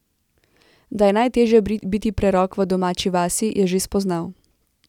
Da je najtežje biti prerok v domači vasi, je že spoznal.